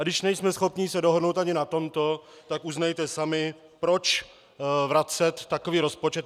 A když nejsme schopni se dohodnout ani na tomto, tak uznejte sami - proč vracet takový rozpočet?